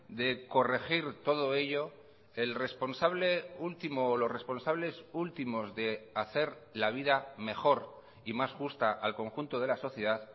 de corregir todo ello el responsable último o los responsables últimos de hacer la vida mejor y más justa al conjunto de la sociedad